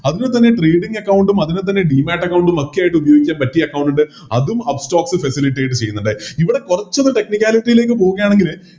അതിൽ തന്നെ Trading account ഉം അതിൽ തന്നെ Demat account ഒക്കെയായിട്ട് ഉപയോഗിക്കാൻ പറ്റിയ Account അതും Upstox facilitate ചെയ്യുന്നുണ്ട് ഇവിടെ കൊറച്ചൊന്ന് Technicality ലേക്ക് പോവുകയാണെങ്കില്